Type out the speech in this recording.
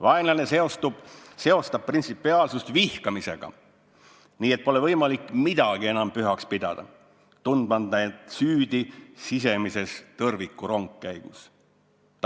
Vaenlane seostab printsipiaalsust vihkamisega, nii et pole võimalik midagi pühaks pidada, tundmata end süüdi sisemises tõrvikurongkäigus.